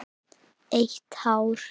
Eitt hár.